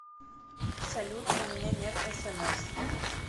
салют у меня нет смс